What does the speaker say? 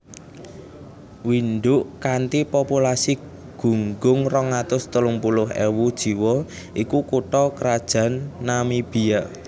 Windhoek kanthi populasi gunggung rong atus telung puluh ewu jiwa iku kutha krajan Namibia